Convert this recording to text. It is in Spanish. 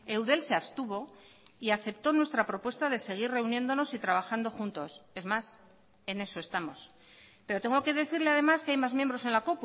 eudel se abstuvo y aceptó nuestra propuesta de seguir reuniéndonos y trabajando juntos es más en eso estamos pero tengo que decirle además que hay más miembros en la